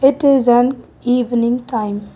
it is on evening time.